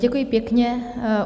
Děkuji pěkně.